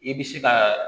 I bɛ se ka